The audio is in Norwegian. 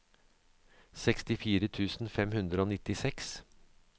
sekstifire tusen fem hundre og nittiseks